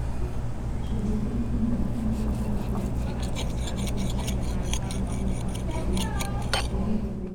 Icunjĩ cia mĩmera iria ĩhũthagĩrwo na kũgacĩrithia nyeni